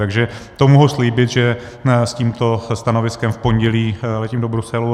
Takže to mohu slíbit, že s tímto stanoviskem v pondělí letím do Bruselu.